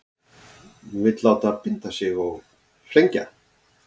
Vill láta binda sig og flengja